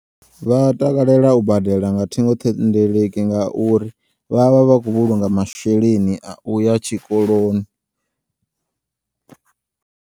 Vha takalela u badela nga thingoṱhendeleki ngauri vhavha vha khou vhulunga masheleni a uya tshikoloni.